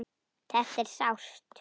Þetta er sárt.